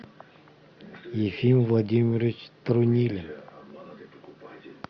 ефим владимирович трунилин